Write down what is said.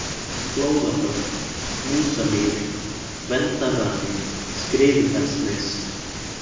Flóðabörð, Músamýri, Gvendarrani, Skriðufellsnes